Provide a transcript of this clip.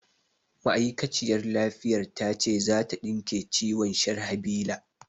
Ma'aikaciyar lafiyar ta ce za ta ɗinke ciwon Sharhabila